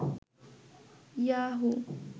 Yahoo